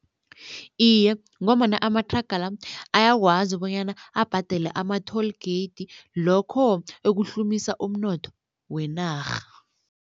Iye, ngombana amathraga la ayakwazi bonyana abhadele ama-toll gate lokho ekuhlumisa umnotho wenarha.